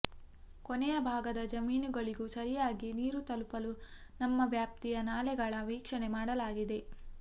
ಕೊನೆಯ ಭಾಗದ ಜಮೀನುಗಳಿಗೂ ಸರಿಯಾಗಿ ನೀರು ತಲುಪಲು ನಮ್ಮ ವ್ಯಾಪ್ತಿಯ ನಾಲೆಗಳ ವೀಕ್ಷಣೆ ಮಾಡಲಾಗಿದೆ